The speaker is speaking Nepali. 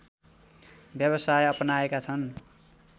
व्यावसाय अपनाएका छन्